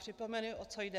Připomenu, o co jde.